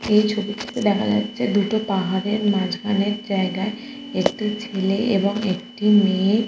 এই ছবিটিতে দেখা যাচ্ছে দুটো পাহাড়ের মাঝখানের জায়গায় একটি ছেলে ও একটি মেয়ে।